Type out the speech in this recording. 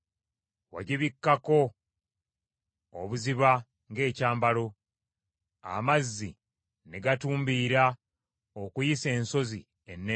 Wagibikkako obuziba ng’ekyambalo; amazzi ne gatumbiira okuyisa ensozi ennene.